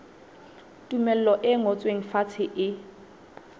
tumello e ngotsweng fatshe e